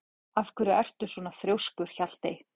Af hverju ertu svona þrjóskur, Hjaltey?